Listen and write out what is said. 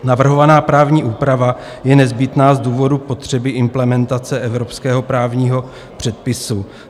Navrhovaná právní úprava je nezbytná z důvodu potřeby implementace evropského právního předpisu.